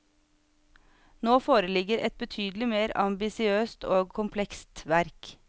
Nå foreligger et betydelig mer ambisiøst og komplekst verk.